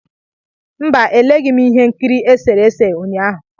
Mba, eleghị m ihe nkiri esere ese ụnyahụ.